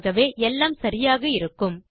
ஆகவே எல்லாம் சரியாக இருக்கும்